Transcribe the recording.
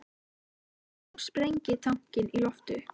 Með augunum sprengi ég tankinn í loft upp.